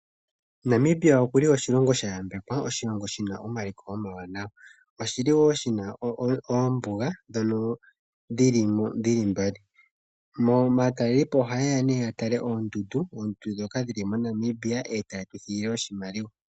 Namibia oku li oshilongo sha yambekwa, oshilongo shi na omaliko omawanawa. Oshi li wo shi na oombuga ndhono dhi li mbali. Aatalelipo ohaye ya okutala oondundu. Oondundu ndhoka dhi li moNamibia e taye tu thigile oshimaliwa.